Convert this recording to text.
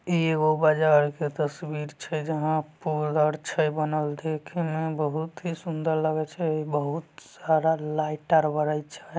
एगो बजार के तस्वीर छै जहां पोल आर छै बनल देखे मे बहुत ही सुंदर लगय छै बहुत-सारा लाइट आर बरय छै।